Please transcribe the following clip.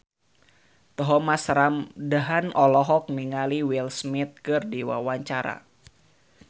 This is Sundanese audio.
Thomas Ramdhan olohok ningali Will Smith keur diwawancara